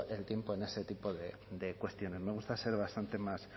el tiempo en este tipo de cuestiones me gusta ser bastante más